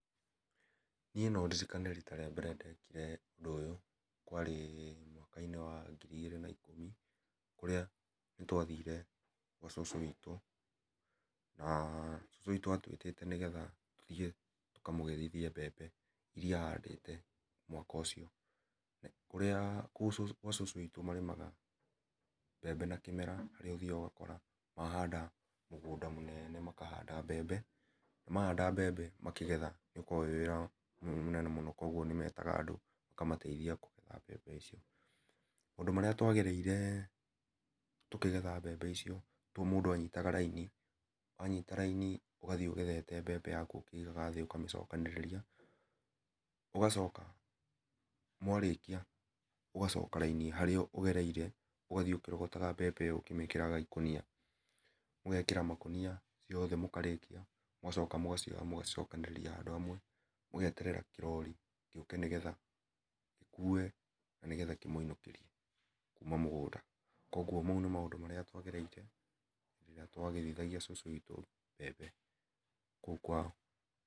Niĩ no ndirĩkane rĩta rĩa mbere ndekire ũndũ ũyũ, kwarĩ mwaka inĩ wa ngĩrĩ igĩrĩ na ikũmi kũrĩa nĩ twathiĩre gwa cũcũ wĩtũ na cũcũ wĩtũ atwĩtĩte nĩgetha tũthiĩ tũka mũgethithie mbembe iria ahandĩte mwaka ũcio kũrĩa kuũ gwa cũcũ wĩtũ marĩmaga mbembe na kĩmera harĩa nĩ ũthĩaga ũgakora nĩ ahanda mũgũnda mũnene makanda mbembe mahanda mbembe makĩgethanĩ ũkoragwo wĩ wĩra mũnene mũno kũogũo nĩ metaga andũ maka mateĩthia kũgetha mbembe icio , maũndũ marĩa twagereire tũkĩgetha mbembe icio mũndũ nĩ anyitaga laini ũgathiĩ ũgethete mbembe yakũ ũkĩĩgaga thĩ ũkamĩcokanĩrĩria ũgacoka mwarĩkia ũgacoka laini harĩa mũgereire ũgathiĩ ũkĩrogotaga mbembe ĩyo ũkĩmĩkĩraga ĩkũnia mũgekĩra makũnia mothe mũkarĩkia mĩgacoka mũgacioya mũgacicokanĩrĩria handũ hamwe mũgeterera kĩrori gĩũke nĩ getha gĩkũe na kĩmũinũkĩrie. kuma mũgũnda. koguo nĩ maũndũ marĩa twagereire rĩrĩa twagethithagia cucu mbembe kũu kwao